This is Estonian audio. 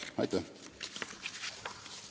Aitäh!